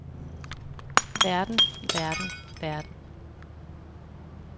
verden verden verden